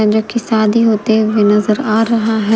जो की शादी होते हुए नजर आ रहा है।